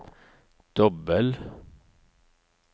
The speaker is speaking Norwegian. dobbel